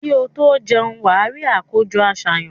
Kí o tó jẹun, wà á rí àkójọ-àsàyàn.